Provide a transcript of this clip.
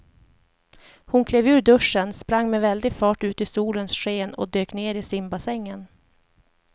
Hon klev ur duschen, sprang med väldig fart ut i solens sken och dök ner i simbassängen.